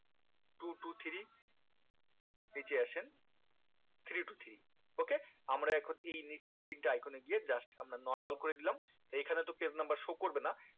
two two three নিচে আসেন three two three ok আমরা এখন এই নিচের তিনটে icon এ গিয়ে just আমরা normal করে দিলাম এই খানে তো page number show করবে না